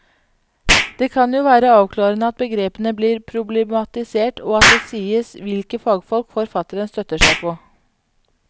Det kan jo være avklarende at begrepene blir problematisert og at det sies hvilke fagfolk forfatteren støtter seg på.